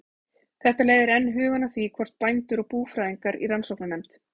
Þetta leiðir enn hugann að því, hvort bændur og búfræðingar í rannsóknarnefnd